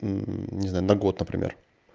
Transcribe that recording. не знаю на год например